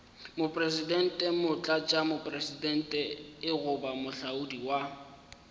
mopresidente motlatšamopresidente goba moahlodi wa